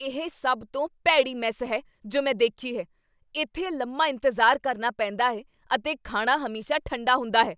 ਇਹ ਸਭ ਤੋਂ ਭੈੜੀ ਮੈੱਸ ਹੈ ਜੋ ਮੈਂ ਦੇਖੀ ਹੈ। ਇੱਥੇ ਲੰਮਾ ਇੰਤਜ਼ਾਰ ਕਰਨਾ ਪੈਂਦਾ ਹੈ ਅਤੇ ਖਾਣਾ ਹਮੇਸ਼ਾ ਠੰਡਾ ਹੁੰਦਾ ਹੈ।